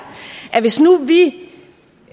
hvis nu vi